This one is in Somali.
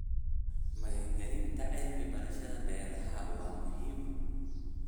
Maalgelinta cilmi-baarista beeraha waa muhiim.